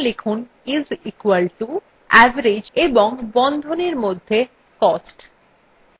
এখন লিখুন is equal to এবং average এবং বন্ধনীর মধ্যে cost